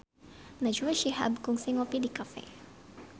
Najwa Shihab kungsi ngopi di cafe